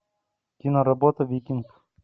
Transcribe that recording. киноработа викинг